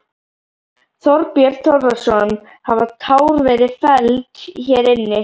Þorbjörn Þórðarson: Hafa tár verið felld hér inni?